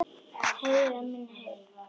Heyra minni heyrn.